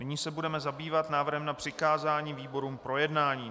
Nyní se budeme zabývat návrhem na přikázání výborům k projednání.